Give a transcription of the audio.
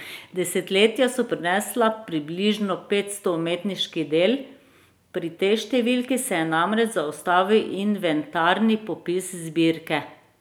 Desetletja so prinesla približno petsto umetniških del, pri tej številki se je namreč zaustavil inventarni popis zbirke.